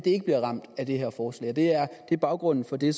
ikke bliver ramt af det her forslag det er baggrunden for det